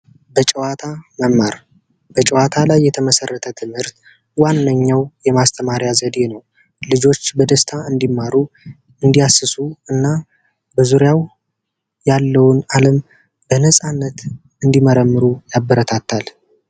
በጨዋታ መማር በጨዋታ ላይ የተመሰረተ ትምህርት ዋነኛው የማስተማሪያ ዘዴ ነው ልጆች በደስታ እንዲማሩ እንዲያስሱ እና በዙሪያው ያለውን ዓለም በነፃነት እንዲመረምሩ ያበረታታል